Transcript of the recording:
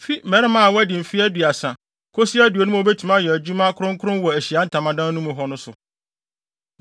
fi mmarima a wɔadi mfe aduasa kosi aduonum a wobetumi ayɛ adwuma kronkron wɔ Ahyiae Ntamadan mu hɔ no so.